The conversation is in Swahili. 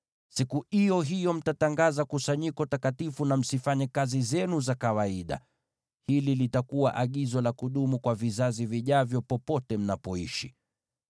Siku iyo hiyo mtatangaza kusanyiko takatifu, na msifanye kazi zenu za kawaida. Hili litakuwa agizo la kudumu kwa vizazi vijavyo, popote mnapoishi.